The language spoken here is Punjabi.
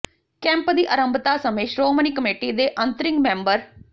ਕੈਂਪ ਦੀ ਆਰੰਭਤਾ ਸਮੇਂ ਸ਼੍ਰੋਮਣੀ ਕਮੇਟੀ ਦੇ ਅੰਤ੍ਰਿੰਗ ਮੈਂਬਰ ਸ